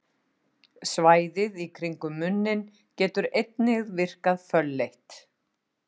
Svæðið í kringum munninn getur einnig virkað fölleitt.